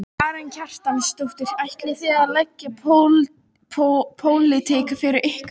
Karen Kjartansdóttir: Ætlið þið að leggja pólitík fyrir ykkur?